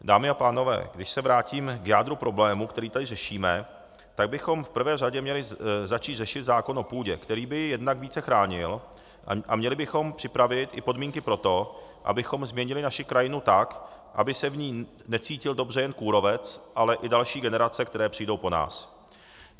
Dámy a pánové, když se vrátím k jádru problému, který tady řešíme, tak bychom v prvé řadě měli začít řešit zákon o půdě, který by ji jednak více chránil, a měli bychom připravit i podmínky pro to, abychom změnili naši krajinu tak, aby se v ní necítil dobře jen kůrovec, ale i další generace, které přijdou po nás.